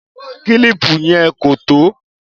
Kílìpù yẹn kò tó